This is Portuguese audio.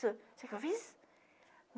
Sabe o que eu fiz?